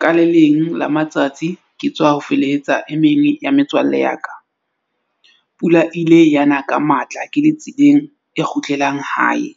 Ka le leng la matsatsi ke tswa ho felehetsa e meng ya metswalle ya ka. Pula e ile yana ka matla ke le tseleng e kgutlelang hae.